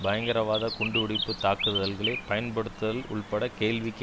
பயங்கரவாத குண்டு வெடிப்பு தாக்குதல்களை பயன்படுத்தல் உள்பட கேள்விக்கு